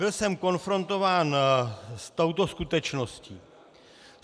Byl jsem konfrontován s touto skutečností.